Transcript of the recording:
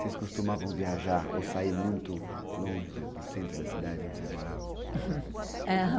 Vocês costumavam viajar ou sair muito longe do centro da cidade onde vocês moravam?